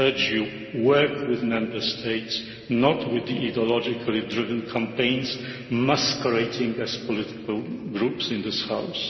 I urge you to work with the Member States, not with the ideologically driven campaigns masquerading as political groups in this House.